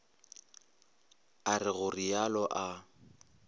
a re go realo a